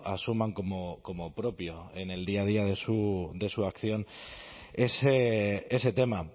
asuman como propio en el día a día de su acción ese tema